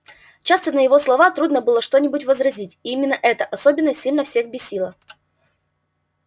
часто на его слова трудно было что-нибудь возразить и именно это особенно сильно всех бесило